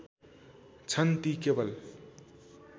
छन् ती केवल